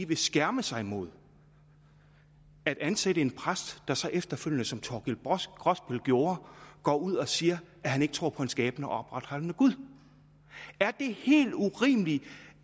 vil skærme sig mod at ansætte en præst der så efterfølgende som thorkild grosbøll gjorde går ud og siger at han ikke tror på en skabende og opretholdende gud er det helt urimeligt